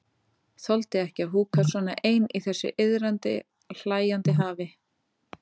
Þoldi ekki að húka svona ein í þessu iðandi, hlæjandi hafi.